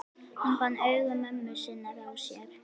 Hann fann augu mömmu sinnar á sér.